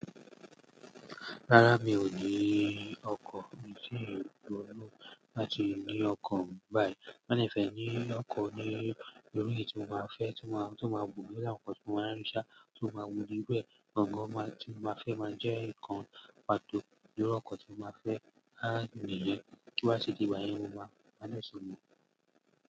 Rárá mi ò ni ọkọ̀, mi ti ń to ló láti ni ọkọ̀ báyìí. Ti n ba de fe ni ọkọ̀ ní iru eyi ẹni tí máa fẹ́, tí máa, tíó máa wuni láwùjọ, tí ó máa ríṣà, tí ó máa wuni be. Gangan tí ó máa fẹ́ máa jẹ́ nǹkan pàtó lórí ọkọ̀ tí ó máa fẹ́ láti lè jẹ́ kí ó ṣe di ìwà ìyèwù máa máa sọnù.